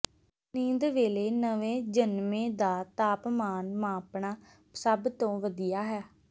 ਨੀਂਦ ਵੇਲੇ ਨਵੇਂ ਜਨਮੇ ਦਾ ਤਾਪਮਾਨ ਮਾਪਣਾ ਸਭ ਤੋਂ ਵਧੀਆ ਹੈ